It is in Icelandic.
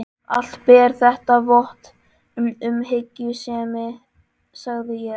Allt ber þetta vott um umhyggjusemi, sagði ég.